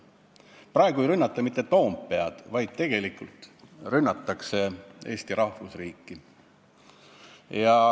" Praegu ei rünnata küll mitte Toompead, vaid rünnatakse Eesti rahvusriiki.